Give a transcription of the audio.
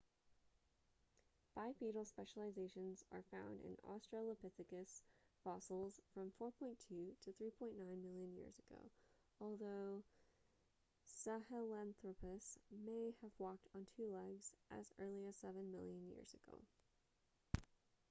bipedal specializations are found in australopithecus fossils from 4.2-3.9 million years ago although sahelanthropus may have walked on two legs as early as seven million years ago